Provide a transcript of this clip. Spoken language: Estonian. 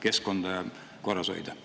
keskkonda korras hoida?